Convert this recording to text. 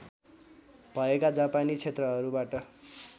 भएका जापानी क्षेत्रहरूबाट